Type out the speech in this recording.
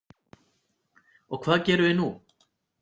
Og hvað gerum við nú?